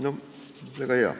Väga hea!